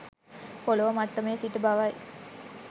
පොළොව මට්ටමේ සිට බවයි